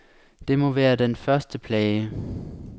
Det må være den et første plage.